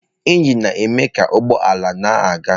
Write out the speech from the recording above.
Injin na-eme ka ụgbọ ala na-aga.